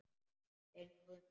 Þeir náðu mér.